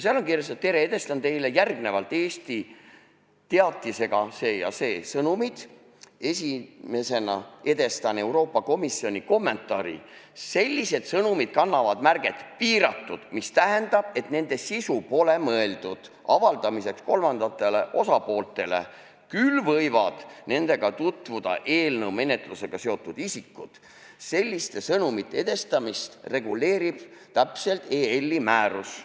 Seal on kirjas, et tere, edastan teile järgnevalt Eesti teatisega see ja see sõnumid ning esimesena edastan Euroopa Komisjoni kommentaari, sellised sõnumid kannavad märget "piiratud", mis tähendab, et nende sisu pole mõeldud avaldamiseks kolmandatele osapooltele, küll võivad nendega tutvuda eelnõu menetlusega seotud isikud ja selliste sõnumite edastamist reguleerib täpselt EL-i määrus.